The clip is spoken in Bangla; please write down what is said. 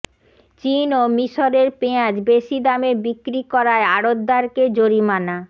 চীন ও মিশরের পেঁয়াজ বেশি দামে বিক্রি করায় আড়তদারকে জরিমানা